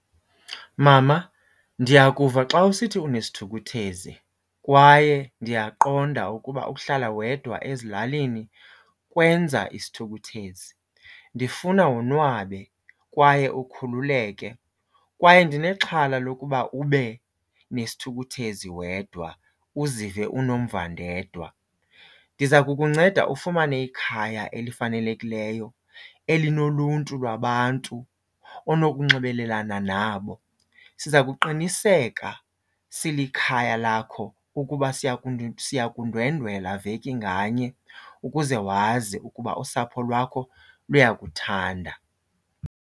Mama, ndiyakuva xa usithi unesithukuthezi kwaye ndiyaqonda ukuba ukuhlala wedwa ezilalini kwenza isithukuthezi. Ndifuna wonwabe kwaye ukhululeke kwaye ndinexhala lokuba ube nesithukuthezi wedwa uzive unomvandedwa. Ndiza kukunceda ufumane ikhaya elifanelekileyo elinoluntu lwabantu onokunxibelelana nabo. Siza kuqiniseka silikhaya lakho ukuba siya siya kundwendwela veki nganye ukuze wazi ukuba usapho lwakho luyakuthanda.